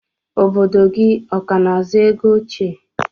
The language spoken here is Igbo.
Obodo gi ọkana azụ ego oche?